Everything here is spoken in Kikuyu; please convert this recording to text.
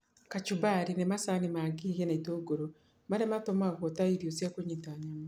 Kachumbari, nĩ macani ma ngigĩ na itũngũrũ, marĩa matumagwo ta irio cia kũnyita nyama.